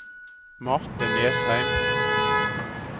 Marthe Nesheim